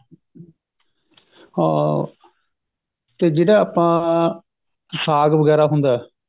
ਹਾਂ ਤੇ ਜਿਹੜਾ ਆਪਾਂ ਸਾਗ ਵਗੇਰਾ ਹੁੰਦਾ